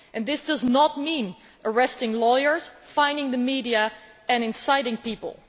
This does not mean arresting lawyers, fining the media and inciting people.